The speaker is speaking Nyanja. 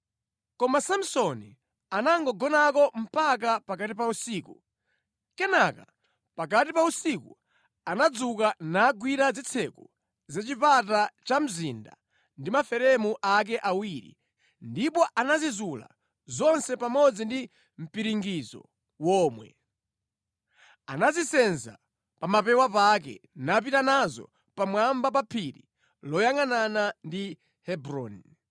Koma Samsoni anangogonako mpaka pakati pa usiku. Kenaka pakati pa usiku anadzuka nagwira zitseko za chipata cha mzinda ndi maferemu ake awiri, ndipo anazizula zonse pamodzi ndi mpiringidzo womwe. Anazisenza pa mapewa pake napita nazo pamwamba pa phiri loyangʼanana ndi Hebroni.